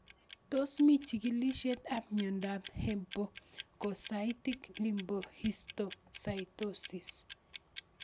Tos mii chig'ilishet ab miondop hemophagocytic lymphohistiocytosis?